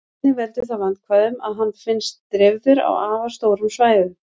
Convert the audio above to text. Einnig veldur það vandkvæðum að hann finnst dreifður á afar stórum svæðum.